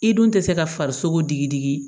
I dun tɛ se ka farisogo digi digi